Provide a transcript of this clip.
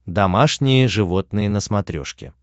домашние животные на смотрешке